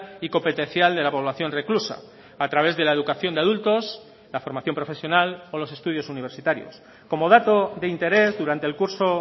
y competencial de la población reclusa a través de la educación de adultos la formación profesional o los estudios universitarios como dato de interés durante el curso